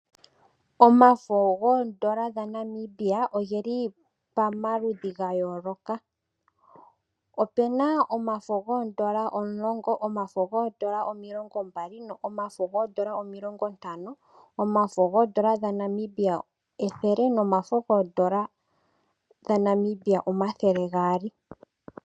Omafo goondola dhaNamibia ogeli pamaludhi ga yooloka. Opu na omafo goondola omulongo, omafo goondola omilongo mbali nomafo goondola omilongo ntano omafo goondola dhaNamibia ethele nomafo goondola dhaNamibia omathele gaali.